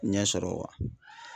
Ɲɛsɔrɔ wa?